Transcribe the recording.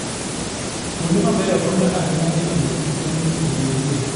Kuonde mabeyo konyo ahinya e miyokich manyien obedie.